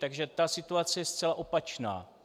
Takže ta situace je zcela opačná.